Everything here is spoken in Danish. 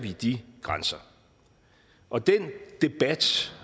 de grænser og den debat